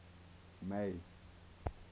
may